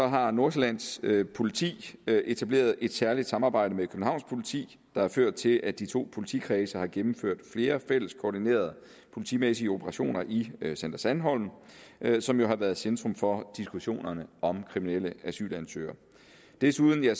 har nordsjællands politi etableret et særligt samarbejde med københavns politi der har ført til at de to politikredse har gennemført flere fælles koordinerede politimæssige operationer i center sandholm som jo har været centrum for diskussionerne om kriminelle asylansøgere desuden har